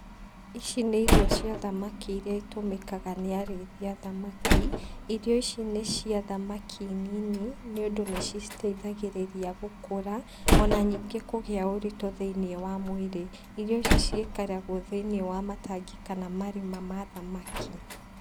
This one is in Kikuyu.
Ici nĩ irio cia thamaki irĩa itũmĩkaga nĩ arĩithia thamaki. Irio ici nĩ cia thamaki nini, nĩũndũ nĩciciteithagĩrĩria gũkũra, ona nĩngĩ kũgĩa ũrĩtũ thĩinĩ wa mwĩrĩ . Irio ici ciĩkĩragwo thĩinĩ wa matangi kana marima ma thamaki.